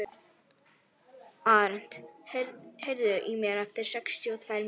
Arent, heyrðu í mér eftir sextíu og tvær mínútur.